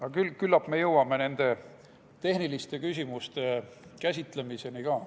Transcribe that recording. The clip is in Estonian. Aga küllap me jõuame nende tehniliste küsimuste käsitlemiseni ka.